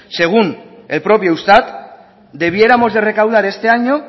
según el propio eustat debiéramos de recaudar este año